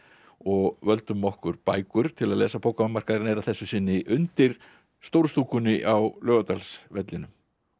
og völdum okkur bækur til að lesa bókamarkaðurinn er að þessu sinni undir stóru stúkunni á Laugardalsvellinum